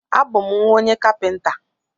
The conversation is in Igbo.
A bú m nwa onye kapinta